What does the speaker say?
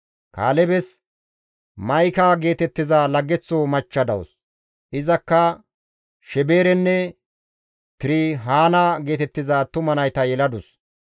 Kaalebes Ma7ika geetettiza laggeththo machcha dawus; izakka Sheberenne Tirihaana geetettiza attuma nayta yeladus.